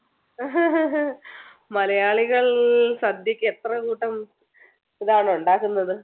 മലയാളികൾ സദ്യക്ക് എത്ര കൂട്ടം ഇതാണ് ഉണ്ടാക്കുന്നത്